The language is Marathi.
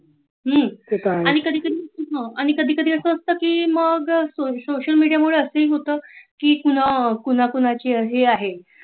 आणि कधी कधी अस‌ असत की मग सोशल मीडिया मुळे असही होत की पुन्हा पुन्हा अशा हे आहे